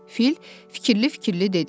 Fil fikirli-fikirli dedi.